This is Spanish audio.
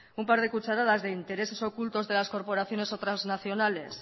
un par de cucharadas de intereses ocultos de las corporaciones o trasnacionales